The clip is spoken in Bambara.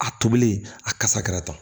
A tobili a kasa kɛra tan